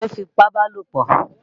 Ta ni ó fipábalòpọ̀?